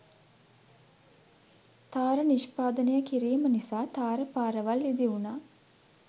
තාර නිෂ්පාදය කිරීම නිසා තාර පාරවල් ඉදිවුණා.